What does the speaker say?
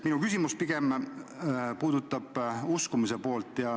Minu küsimus puudutab pigem uskumise poolt.